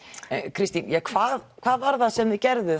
Kristín hvað hvað var það sem þið gerðuð